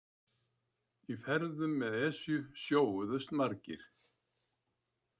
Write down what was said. Í ferðum með Esju sjóuðust margir.